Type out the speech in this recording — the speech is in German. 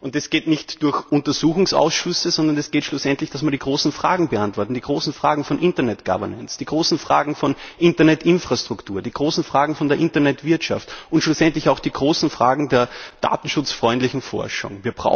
Und das geht nicht durch Untersuchungsausschüsse, sondern das geht schlussendlich, indem wir die großen Fragen beantworten die großen Fragen von Internet Governance, die großen Fragen von Internet Infrastruktur, die großen Fragen von der Internet Wirtschaft und schlussendlich auch die großen Fragen der datenschutzfreundlichen Forschung.